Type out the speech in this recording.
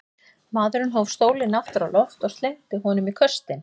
Maðurinn hóf stólinn aftur á loft og slengdi honum í köstinn.